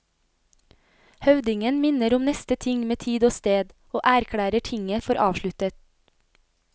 Høvdingen minner om neste ting med tid og sted, og erklærer tinget for avsluttet.